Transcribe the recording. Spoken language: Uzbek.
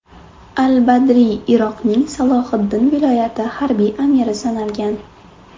Al-Badriy Iroqning Salohiddin viloyati harbiy amiri sanalgan.